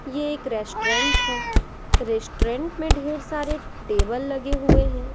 ये एक रेस्टोरेंट है रेस्टोरेंट में ढेर सारे टेबल लगे हुए हैं।